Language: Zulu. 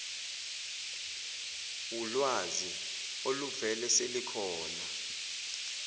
wulwazi oluvele selukhona